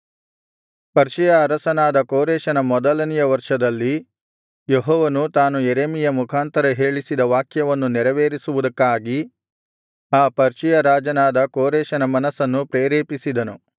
Persia ಅರಸನಾದ ಕೋರೆಷನ ಮೊದಲನೆಯ ವರ್ಷದಲ್ಲಿ ಯೆಹೋವನು ತಾನು ಯೆರೆಮೀಯನ ಮುಖಾಂತರ ಹೇಳಿಸಿದ ವಾಕ್ಯವನ್ನು ನೆರವೇರಿಸುವುದಕ್ಕಾಗಿ ಆ ಪರ್ಷಿಯ ರಾಜನಾದ ಕೋರೆಷನ ಮನಸ್ಸನ್ನು ಪ್ರೇರೇಪಿಸಿದನು